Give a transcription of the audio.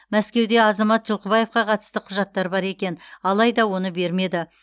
мәскеуде азамат жылқыбаевқа қатысты құжаттар бар екен алайда оны бермеді